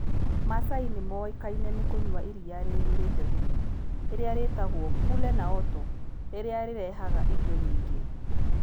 Maasai nĩ moĩkaine nĩ kũnyua iria rĩiyũrĩte thumu, rĩrĩa rĩĩtagwo "kule naoto", rĩrĩa rĩrehaga irio nyingĩ.